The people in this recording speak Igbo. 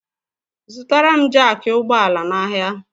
Zụtara m jaaki ụgbọala n'ahia!!!